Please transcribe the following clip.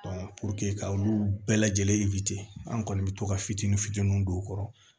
ka olu bɛɛ lajɛlen an kɔni bɛ to ka fitinin fitininw don u kɔrɔ